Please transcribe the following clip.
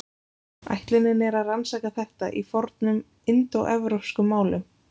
Ætlunin er að rannsaka þetta í fornum indóevrópskum málum.